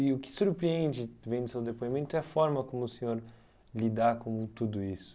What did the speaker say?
E o que surpreende, vendo o seu depoimento, é a forma como o senhor lidar com tudo isso.